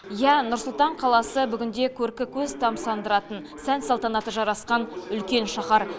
иә нұр сұлтан қаласы бүгінде көркі көз тамсандыратын сән салтанаты жарасқан үлкен шаһар